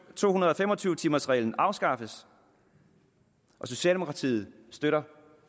to hundrede og fem og tyve timers reglen afskaffes socialdemokratiet støtter